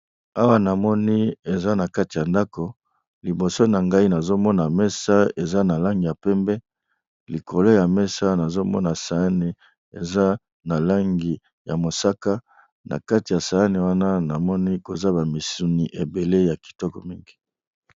Awa namoni eza na kati ya ndako liboso na ngai nazomona mesa eza na langi ya pembe, likolo ya mesa nazomona sayane eza na langi ya mosaka na kati ya sayane wana namoni koza bamisuni ebele ya kitoko mingi.